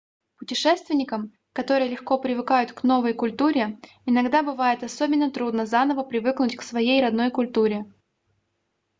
путешественникам которые легко привыкают к новой культуре иногда бывает особенно трудно заново привыкнуть к своей родной культуре